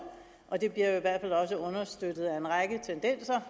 og det bliver i hvert fald også understøttet af en række tendenser